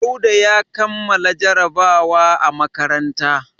Dauda ya kammala jarabawa a makaranta.